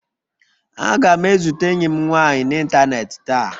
Aga m ezute enyi m nwanyị n'ịntanetị taa